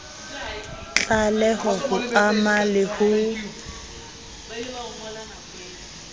tlaleho ho ama le ho